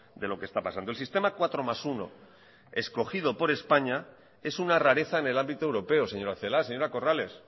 de lo que está pasando el sistema cuatro más uno escogido por españa es una rareza en el ámbito europeo señora celaá señora corrales